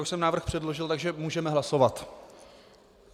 Už jsem návrh předložil, takže můžeme hlasovat.